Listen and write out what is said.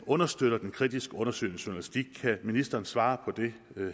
understøtter den kritiske undersøgende journalistik kan ministeren svare på det